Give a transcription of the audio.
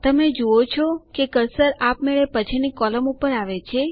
તમે જુઓ છો કે કર્સર આપમેળે પછીની કોલમ ઉપર આવે છે